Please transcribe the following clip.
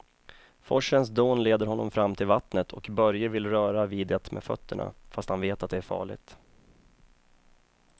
Forsens dån leder honom fram till vattnet och Börje vill röra vid det med fötterna, fast han vet att det är farligt.